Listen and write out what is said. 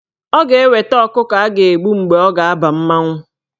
Ọ ga-eweta ọkụkọ a ga-agbụ mgbe ọ ga-aba mmanwụ.